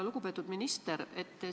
Lugupeetud minister!